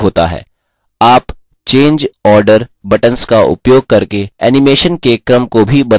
आप change order buttons का उपयोग करके animation के क्रम को भी बदल सकते हैं